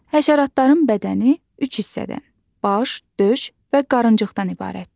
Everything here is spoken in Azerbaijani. Həşəratların bədəni üç hissədən, baş, döş və qarınıcıqdan ibarətdir.